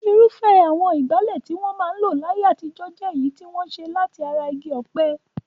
Irúfẹ́ àwọn ìgbálẹ̀ tí wọ́n ń lò láyé àtijọ́ jẹ́ èyí tí wọ́n ṣe láti ara igi ọ̀pẹ.